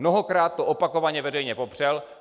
Mnohokrát to opakovaně veřejně popřel.